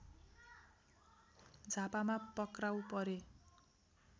झापामा पक्राउ परे